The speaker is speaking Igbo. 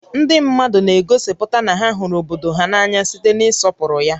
Ndị mmadụ na-egosipụta na ha hụrụ obodo há n'anya site n'ịsọpụrụ ya